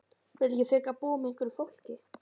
Viltu ekki frekar búa með einhverju fólki?